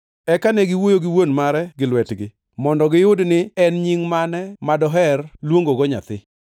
Eka ne giwuoyo gi wuon mare gi lwetgi, mondo giyud ni en nying mane madoher luongogo nyathi.